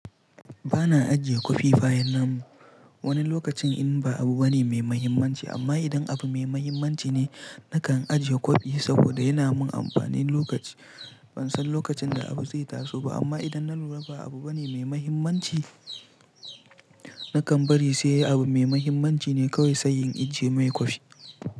Ba na ajiye kwafi bayan namu. Wani lokacin in ba abu bane mai mahimmanci amma idan abu mai mahimmanci ne nakan ajiye kwafi saboda yana mun amfani lokaci. Ban san lokacin da abu zai taso ba amma idan na lura ba abu bane mai mahimmanci, nakan bari sai abu mai mahimmanci ne kawai sai in ajiye mai kwafi.